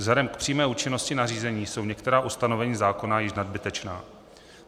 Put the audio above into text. Vzhledem k přímé účinnosti nařízení jsou některá ustanovení zákona již nadbytečná.